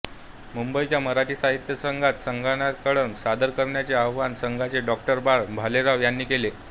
मुंबईच्या मराठी साहित्य संघात संन्यस्तखड्ग सादर करण्याचे आवाहन संघाचे डॉ बाळ भालेराव यांनी केले